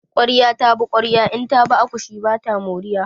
Ƙwarya ta bi ƙwarya in ta bi akushi ba ta moriya.